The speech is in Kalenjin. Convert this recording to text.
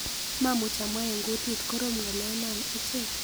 Mamuch amwa eng kutit, korom ng'olyonoo ochei.